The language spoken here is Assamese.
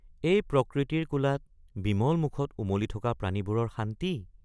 এই প্ৰকৃতিৰ কোলাত বিমল মুখত উমলি থকা প্ৰাণীবোৰৰ শান্তি!